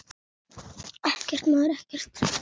Ekkert, maður, ekkert.